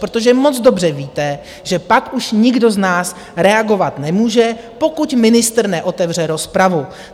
Protože moc dobře víte, že pak už nikdo z nás reagovat nemůže, pokud ministr neotevře rozpravu.